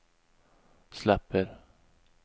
släpper